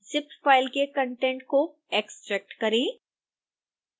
zip file के content को extract करें